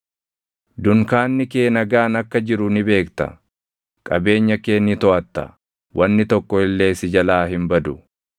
Dunkaanni kee nagaan akka jiru ni beekta; qabeenya kee ni toʼatta; wanni tokko illee si jalaa hin badu.